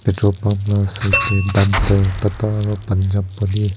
patrol pump laga side te dumper tata aru punjab padi--